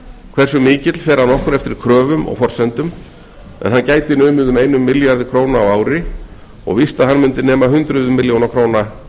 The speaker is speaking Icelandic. hversu mikill fer að nokkru eftir kröfum og forsendum en hann gæti numið um einum milljarði króna á ári og víst að hann mundi nema hundruðum milljóna króna